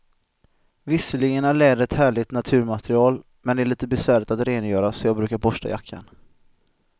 Visserligen är läder ett härligt naturmaterial, men det är lite besvärligt att rengöra, så jag brukar borsta jackan.